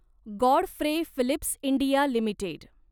Godfrey Phillips India limited